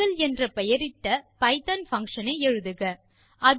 circle என்ற பெயரிட்ட Python function ஐ எழுதுக